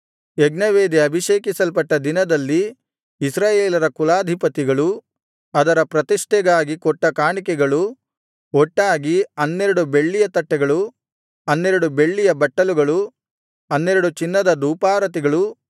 ಯಜ್ಞವೇದಿ ಅಭಿಷೇಕಿಸಲ್ಪಟ್ಟ ದಿನದಲ್ಲಿ ಇಸ್ರಾಯೇಲರ ಕುಲಾಧಿಪತಿಗಳು ಅದರ ಪ್ರತಿಷ್ಠೆಗಾಗಿ ಕೊಟ್ಟ ಕಾಣಿಕೆಗಳು ಒಟ್ಟಾಗಿ 12 ಬೆಳ್ಳಿಯ ತಟ್ಟೆಗಳು 12 ಬೆಳ್ಳಿಯ ಬಟ್ಟಲುಗಳು 12 ಚಿನ್ನದ ಧೂಪಾರತಿಗಳು